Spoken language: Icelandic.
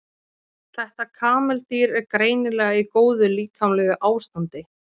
þetta kameldýr er greinilega í góðu líkamlegu ástandi